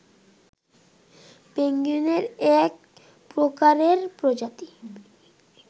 পেঙ্গুইনের এক প্রকারের প্রজাতি